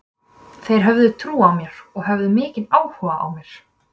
Þeir höfðu trú á mér og höfðu mikinn áhuga á að mér.